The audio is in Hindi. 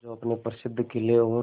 जो अपने प्रसिद्ध किले और